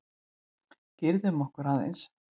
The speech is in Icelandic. Girðum okkur aðeins!